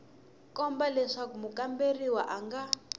komba leswaku mukamberiwa a nga